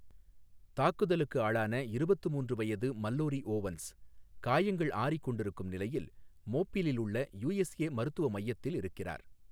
தாக்குதலுக்கு ஆளான இருபத்து மூன்று வயது மல்லோரி ஓவன்ஸ், காயங்கள் ஆறிக்கொண்டிருக்கும் நிலையில் மோபிலிலுள்ள யூஎஸ்ஏ மருத்துவ மையத்தில் இருக்கிறார்.